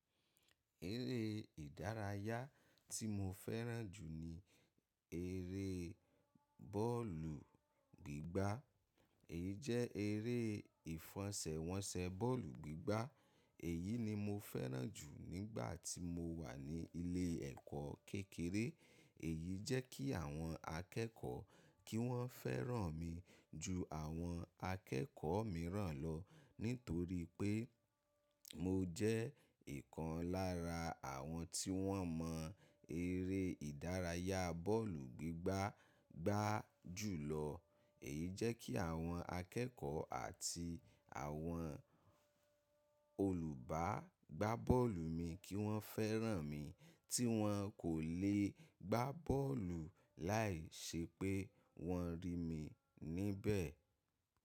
Eré ìdárayá tí mo fẹ́ràn jù ni eré bọ́ọ̀lù gbígbá. Èyí jẹ́ eré ìfẹsẹ̀wọnsẹ̀ bọ́ọ̀lù gbígbá. Èyí ni mo fẹ́ràn jù nígbà tí mo wà ní ilé ẹ̀kọ́ kékeré. Èyí jẹ́ kí àwọn akẹ́kọ̀ọ́ kí wọ́n fẹ́ràn mi ju àwọn akẹ́kọ̀ọ́ mìíràn lọ, nítorí pé mo jẹ́ ìkan lára àwọn tí wọ́n mọ eré ìdárayá bọ́ọ̀lù gbígbá gbá jù lọ. Èyí jẹ́ kí àwọn akẹ́kọ̀ọ́ àti àwọn olùbá gbá bọ́ọ̀lù mi kí wọ́n fẹ́ràn mi tí wọn kò lè gbá bọ́ọ̀lù láìṣẹ́ pé wọ́n rí mi níbẹ̀.